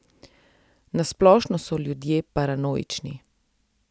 Na splošno so ljudje paranoični.